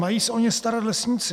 Mají se o ně starat lesníci.